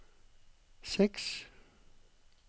seks